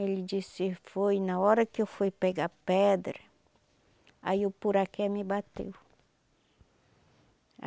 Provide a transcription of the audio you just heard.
Ele disse, foi na hora que eu fui pegar pedra, aí o poraqué me bateu.